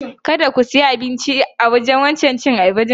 Kada ku siya abinci a wancan wajen cin abincin.